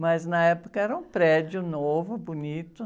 Mas, na época, era um prédio novo, bonito.